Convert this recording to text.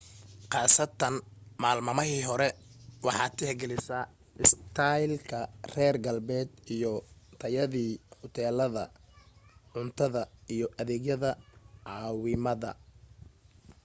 kaasatan maalmamaahii hore waxaad tixgalisaa istaylka reer galbeedka iyo tayada huteelada cuntada iyo adeegyada caawimaada